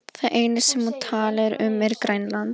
Það eina sem hún talar um er Grænland.